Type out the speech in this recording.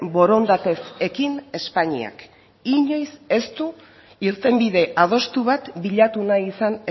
borondatez ekin espainiak inoiz ez du irtenbide adostu bat bilatu nahi izan